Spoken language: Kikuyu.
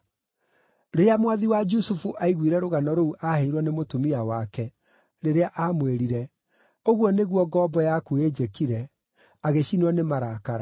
Rĩrĩa mwathi wa Jusufu aiguire rũgano rũu aaheirwo nĩ mũtumia wake, rĩrĩa aamwĩrire, “Ũguo nĩguo ngombo yaku ĩnjĩkire,” agĩcinwo nĩ marakara.